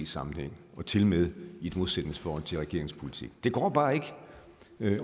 sammenhæng og tilmed i et modsætningsforhold til regeringens politik det går bare ikke